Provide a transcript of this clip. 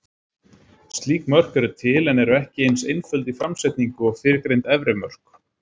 Slík mörk eru til, en eru ekki eins einföld í framsetningu og fyrrgreind efri mörk.